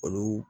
Olu